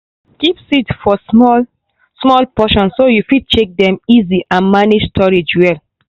keep seeds for small-small portion so you fit check dem easy and manage storage well.